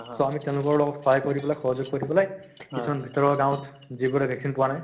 so আমি তেওঁলোকৰ লগত সহায় কৰিবলৈ সহযোগ কৰিবলৈ কিছুমান ভিতৰুৱা গাঁওত যিবোৰে vaccine পোৱা নাই